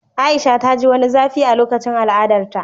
A'isha ta ji wani zafi a lokacin al'adarta